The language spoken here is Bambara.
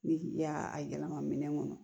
Ni k'i y'a a yɛlɛma minɛn ŋɔnɔ